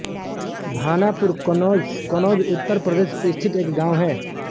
भानापुर कन्नौज कन्नौज उत्तर प्रदेश स्थित एक गाँव है